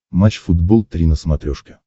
матч футбол три на смотрешке